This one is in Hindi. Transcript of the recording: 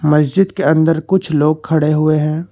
मस्जिद के अंदर कुछ लोग खड़े हुए हैं।